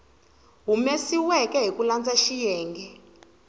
humesiweke hi ku landza xiyenge